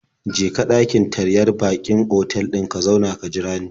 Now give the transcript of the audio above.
Je ka ɗakin taryar baƙin otal ɗin ka zauna ka jira ni.